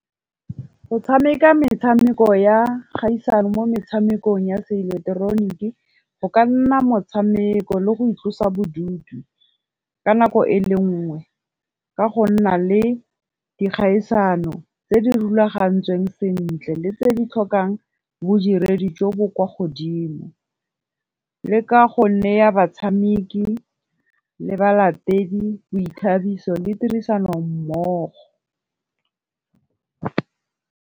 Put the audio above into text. Go tshameka metshameko ya kgaisano mo metshamekong ya se ileketeroniki, go ka nna motshameko le go itlosa bodutu ka nako e le nngwe. Ka go nna le dikgaisano tse di rulagantsweng sentle le tse di tlhokang bodiredi jo bo kwa godimo, le ka go neya batshameki le balatedi boithabiso le tirisano mmogo.